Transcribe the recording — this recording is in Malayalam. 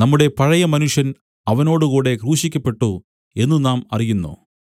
നമ്മുടെ പഴയ മനുഷ്യൻ അവനോടുകൂടെ ക്രൂശിക്കപ്പെട്ടു എന്നു നാം അറിയുന്നു